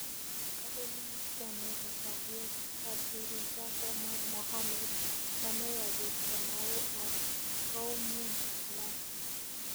Kale minista nepo kalyeet Abdirizak Omar Mohamed kameya piig tamanu ag koumian alg 50